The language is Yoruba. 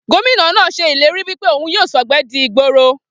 Gómìnà náà se ìlérí wípé òhun yíò sògbé di ìgboro